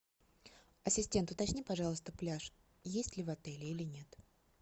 ассистент уточни пожалуйста пляж есть ли в отеле или нет